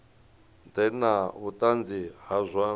ḓe na vhuṱanzi ha zwa